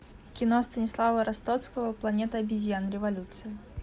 кино станислава ростоцкого планета обезьян революция